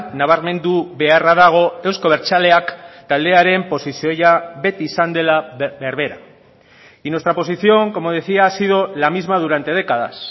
nabarmendu beharra dago euzko abertzaleak taldearen posizioa beti izan dela berbera y nuestra posición como decía ha sido la misma durante décadas